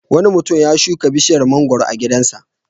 Wani mutum ya shuka bishiyar mangwaro a gidansa.